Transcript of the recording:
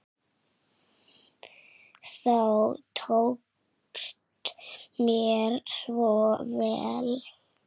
Þú tókst mér svo vel.